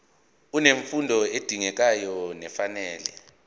unemfundo edingekayo nefanele